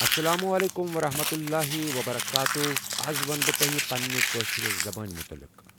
السلام عليكم ورحمة الله وبركاته آز ونہٕ بہٕ تۄہہِ پننہِ کٲشِر زبانہِ مُتعلق